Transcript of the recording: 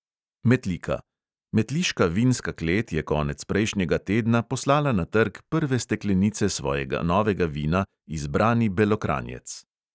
Metlika: metliška vinska klet je konec prejšnjega tedna poslala na trg prve steklenice svojega novega vina "izbrani belokranjec".